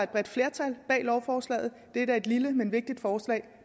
bredt flertal bag lovforslaget det er et lille men vigtigt forslag